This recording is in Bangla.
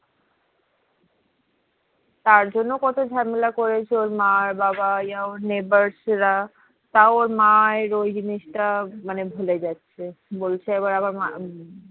তার জন্য কত ঝামেলা করেছে ওর মা বাবা কোনো neighbor তও ওর মায়ের ওই জিনিস তা ভুলে যাচ্ছে বলছে আবার